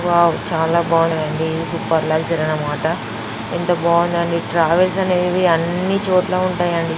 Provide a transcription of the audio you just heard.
Wow చాలా బాగుందండి ఇది సూపర్ లక్సరీ అన్నమాట. ఎంత బాగుందండి. ట్రావెల్స్ అన్ని చోట్ల ఉంటాయండి.